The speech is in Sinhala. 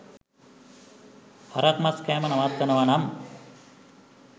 හරක් මස් කෑම නවත්තනව නම්